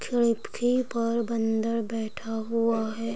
खिड़की पर बन्दर बैठा हुआ है।